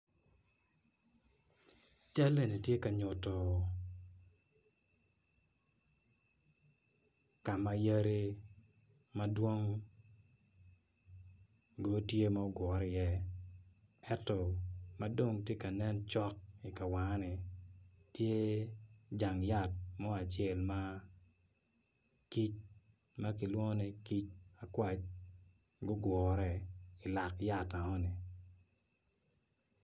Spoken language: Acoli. Cal enni tye ka nyutu ka yadi madwong gutye ma gugure iye ento madong ti kanen cok i ka wanga-ni tye jang yat mo acel ma kic ma kilwongo ni akwac gugure i lak yat eno ni